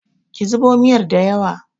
ki zubo miyar da yawa!